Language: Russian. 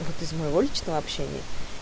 ну вот из моего личного общения